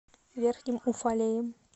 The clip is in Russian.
верхним уфалеем